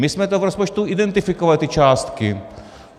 My jsme to v rozpočtu identifikovali, ty částky.